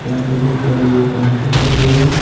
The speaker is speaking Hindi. यहाँ पे बहुत बड़े-बड़े पंखे लगे हुए है।